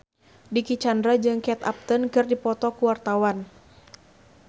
Dicky Chandra jeung Kate Upton keur dipoto ku wartawan